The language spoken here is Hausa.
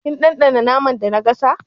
Kin ɗanɗana naman da na gasa?